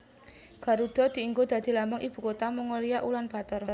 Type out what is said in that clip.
Garudha dienggo dadi lambang ibu kutha Mongolia Ulan Bator